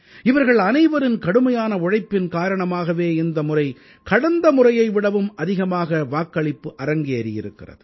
இவர்கள் அனைவரின் கடுமையான உழைப்பின் காரணமாகவே இந்த முறை கடந்த முறையை விடவும் அதிகமாக வாக்களிப்பு அரங்கேறியிருக்கிறது